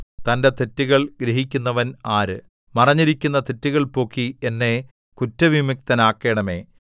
തന്റെ തെറ്റുകൾ ഗ്രഹിക്കുന്നവൻ ആര് മറഞ്ഞിരിക്കുന്ന തെറ്റുകൾ പോക്കി എന്നെ കുറ്റവിമുക്തനാക്കണമേ